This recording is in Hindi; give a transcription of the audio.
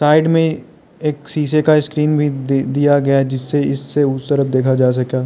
साइड में एक शीशे का स्क्रीन भी दिया गया जिससे इससे उस तरफ देखा जा सके।